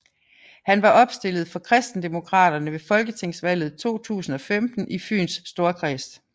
Han var opstillet for KristenDemokraterne ved Folketingsvalget 2015 i Fyns Storkreds